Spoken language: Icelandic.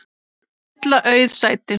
að fylla auð sæti.